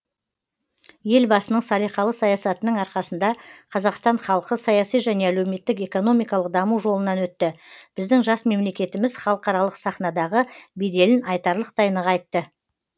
елбасының салиқалы саясатының арқасында қазақстан халқы саяси және әлеуметтік экономикалық даму жолынан өтті біздің жас мемлекетіміз халықаралық сахнадағы беделін айтарлықтай нығайтты